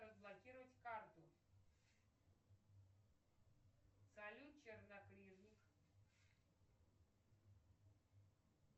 разблокировать карту салют чернокнижник